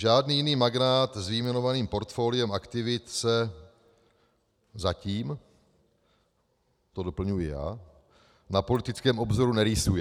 Žádný jiný magnát s vyjmenovaným portfoliem aktivit se" - zatím, to doplňuji já - "na politickém obzoru nerýsuje.